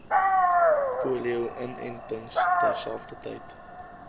polio inentings terselfdertyd